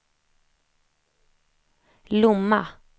Lomma